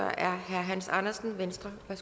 og